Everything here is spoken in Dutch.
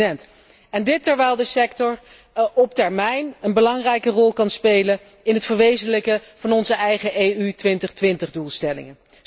En dit terwijl de sector op termijn een belangrijke rol kan spelen in het verwezenlijken van onze eigen EU 2020 doelstelling.